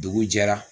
Dugu jɛra